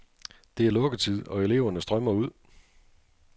Det er lukketid, og eleverne strømmer ud.